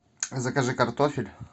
закажи картофель